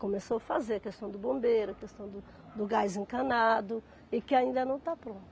Começou fazer a questão do bombeiro, a questão do gás encanado e que ainda não está pronto.